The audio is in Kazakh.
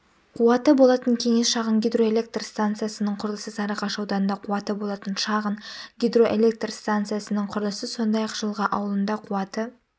қуаты болатын кеңес шағын гидроэлектрстанциясының құрылысы сарыағаш ауданында қуаты болатын шағын гидроэлектрстанциясының құрылысы сондай-ақ жылға ауылында қуаты